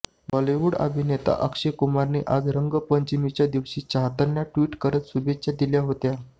बॉलिवूडअभिनेता अक्षय कुमारने आज रंगपंचमीच्या दिवशी चाहत्यांना ट्विट करत शुभेच्छा दिल्या होत्या